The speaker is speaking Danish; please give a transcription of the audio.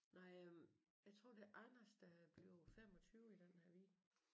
Nej øh jeg tror det er Anders der er blevet 25 i den her weekend